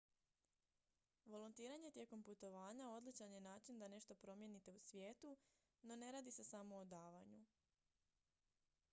volontiranje tijekom putovanja odličan je način da nešto promijenite u svijetu no ne radi se samo o davanju